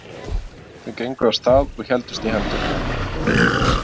Þau gengu af stað og héldust í hendur.